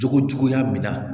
Jogo juguya min na